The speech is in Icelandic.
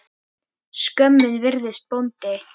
Skömmin virðist bóndi.